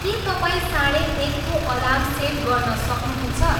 के तपाईँ साढे एकको अलार्म सेट गर्न सक्नुहुन्छ